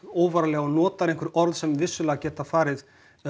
óvarlega og notar einhver orð sem vissulega geta farið